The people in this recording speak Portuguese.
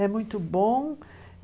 É muito bom.